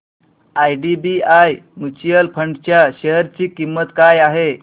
IDBI mutual fund च्या share ची किंमत काय आहे